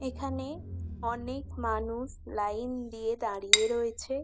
এখানে অনেক মানু লাইন দিয়ে দাঁড়িয়ে রয়েছে।